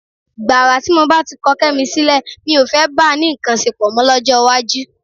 Gbàrà tí mo bá ti kọ Kẹ́mi sílẹ̀, mi ò fẹ́ bá a ní nǹkan ṣepọ̀ mọ́ lọ́jọ́ iwájú.